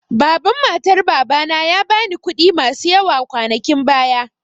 Baban matar Baba na ya ba ni kuɗi masu yawa kwanakin baya.